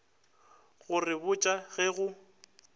go re botša ge go